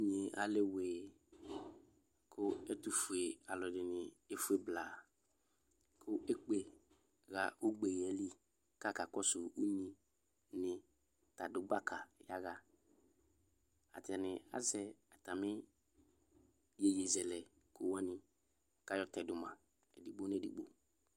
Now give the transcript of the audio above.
inyee alɛ wee kʋ ɛtʋƒʋedini eƒʋee blaa kʋ ekpe ha ʋgbeyɛli kʋ aha ka kɔsʋ ʋnyi ta adʋ gbaka yaha atani azɛ atami yeyezɛlɛko wani kayɔ tɛdʋma edigbo nʋ edigbo